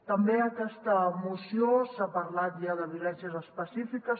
també a aquesta moció s’ha parlat ja de violències específiques